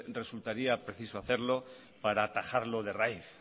resultaría preciso hacerlo para atajarlo de raíz